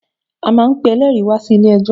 A máa n pe eléèri wá sí ilé ẹjọ̀